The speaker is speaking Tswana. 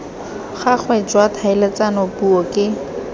gagwe jwa tlhaeletsano puo ke